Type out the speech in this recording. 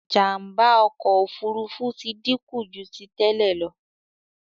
Jàmbá ọkọ òfurufú tí dínkù jù tí tèlé ló.